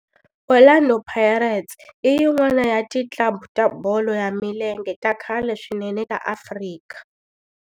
Orlando Pirates i yin'wana ya ti club ta bolo ya milenge ta khale swinene ta Afrika.